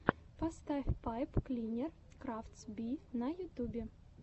поставь пайп клинер крафтс би на ютьюбе